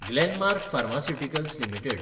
Glenmark pharmaceuticals limited